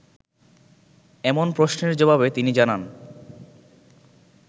এমন প্রশ্নের জবাবে তিনি জানান